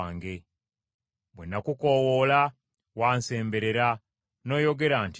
Bwe nakukoowoola wansemberera n’oyogera nti, “Totya!”